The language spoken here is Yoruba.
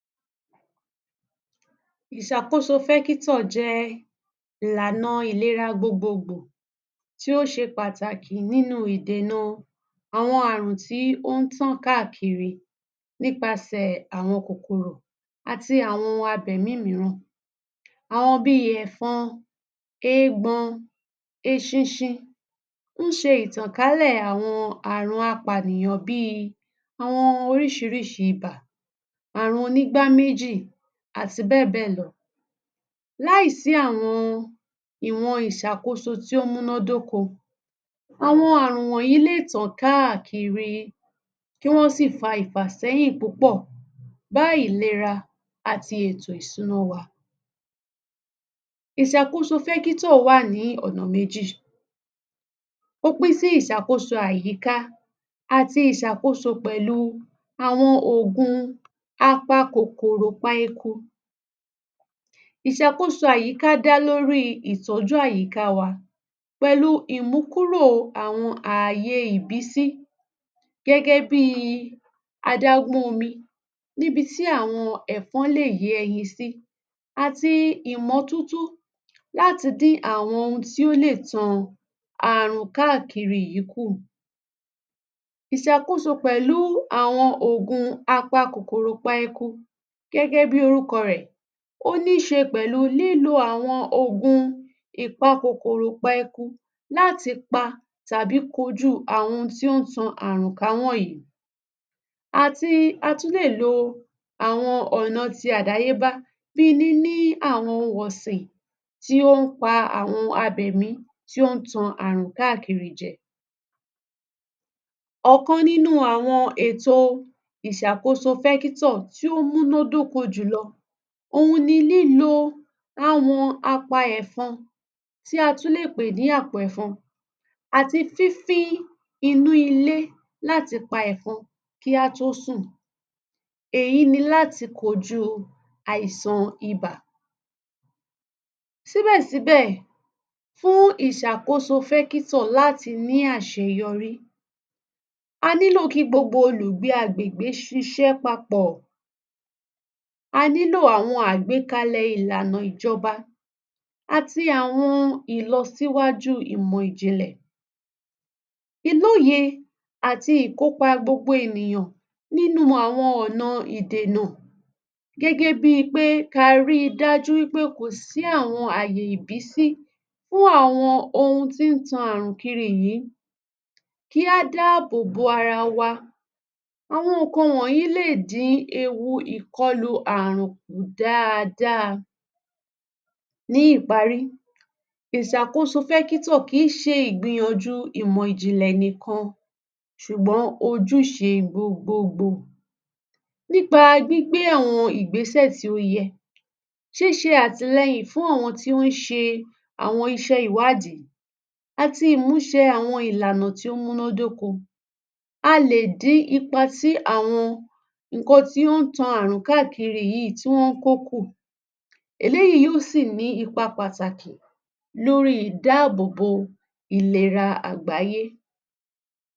Ìsàkósofékítò jẹ ilànà ìlera gbogbogbò tí ó ṣe pàtàkì nínú ìdéná àwọn ààrùn tí ó ń tàn káàkiri nípasẹ̀ àwọn kòkòrò àti àwọn abẹ míìmìràn, àwọn bí i ẹfọ́n, éègbọ́n, eṣinṣin. ń ṣe ìtànkalẹ̀ àwọn ààrùn apànìyàn bíi àwọn orísìrísì ibà, àrùn onígbá méjì, àti bẹ́ẹ̀ bẹ́ẹ̀ lọ. Láìsí àwọn ìwọ̀n ìṣàkóso tí ó múnná dóko, àwọn ààrùn wọ̀nyí lè tàn káàkiri, kí wọn sì fa ìfàsẹ́yìn púpọ̀ bá ìlera àti ètò ìṣúná wa. Ìsàkósofékítò wà ní ọ̀nà méjì. Ó pín sí ìsàkóso àyíká àti ìṣàkóso pẹ̀lú àwọn ogun apá kòkòrò páękú. Ìsàkóso àyíká dá lórí ìtọ́jú àyíká wa pẹ̀lú ìmúkúrò àwọn ààyè ìbí sí gẹ́gẹ́ bíi adagunomi, níbití àwọn ẹfọń lé yé e yin sí, àti ìmọ̀toto láti dín àwọn ohun tí ó lè tàn ààrùn káàkiri yii kú. Ìsàkóso pẹ̀lú àwọn ogun apá kòkòrò páękú. Gẹ́gẹ́ bí orúkọ rẹ̀, oníṣe pẹ̀lú lílo àwọn ogun láti pa tàbí kojú àwọn ohun tí ó ń tàn ààrùn káwọ́ yìí, àti a tún lè lo àwọn ọ̀nà ti àdáyé bá bíi níní àwọn ohun ọ̀sìn tí ó ń pa àwọn abẹmí tí ó ń tàn ààrùn káàkiri jẹ. Ọ̀kan nínú àwọn ètò ìsàkósofékítò tí ó múnná dóko jùlọ ohun ni lílo àwọn apá ẹfọń tí a tún lè pè ní apó ẹfọń àti fífí inú ilé láti pa ẹfọń kì í a tó sùn. Èyí ni láti kojú àìsàn ibà. Síbẹ̀síbẹ̀, fún ìsàkósofékítò láti ní àṣeyọrí, a nílò kí gbogbo olùgbe agbègbè ṣiṣẹ́ papọ̀, a nílò àwọn agbékalẹ̀ ìlànà ìjọba, àti àwọn ìlọ síwájú ìmọ̀ ìjìnlẹ̀, iloye, àti ìkópa gbogbo ènìyàn nínú àwọn ọ̀nà idénà, gẹ́gẹ́ bí i pé ka rí dájú wípé kò sí àwọn àyè ìbí sí fún àwọn ohun tí ń tàn ààrùn kiri yìí kì í a dábòbo ara wa. Àwọn nǹkan wọ̀nyí lè dín ewu ìkọlù ààrùn kú daadaa. Ní ìparí, ìsàkósofékítò kì í ṣe ìgbìyànjú ìmọ̀ ìjìnlẹ̀ nìkan, ṣùgbọ́n o jù ṣe gbogbo ogbo. Nípa gbígbé àwọn ìgbésẹ̀ tí ó yẹ, ṣiṣe àtilẹ́yìn fún ọ̀wọn tí ó ń ṣe àwọn iṣẹ́ ìwáàdí, àti ìmúṣẹ àwọn ìlànà tí ó múnná dóko, a lè dín ipa ti àwọn nkan tí ó ń tàn ààrùn káàkiri yìí tí wọn ń kókú. Eléyìí yóò sì ní ipa pàtàkì lórí ìdábòbo ìlera àgbáyẹ̀.